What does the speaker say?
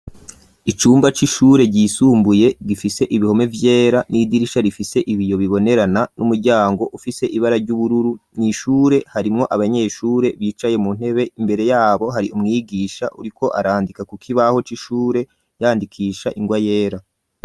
Icumba c'ishure ryisumbuye gifise ibihome vyera n'idirisha rifise ibiyo bibonerana n'umuryango ufise ibara ry'ubururu, n'ishure harimwo abanyeshure bicaye mu ntebe imbere yabo hari umwigisha uriko arandika ku kibaho c'ishure yandikisha ingwa yera.